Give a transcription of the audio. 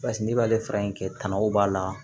Paseke n'i b'ale fɛɛrɛ in kɛ naw b'a la